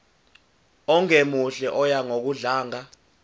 ongemuhle oya ngokudlanga